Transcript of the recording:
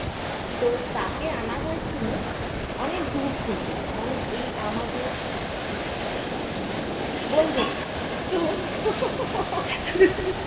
তো তাকে আনা হয়েছিল অনেক দূর থেকে মানে এই আমাদের তো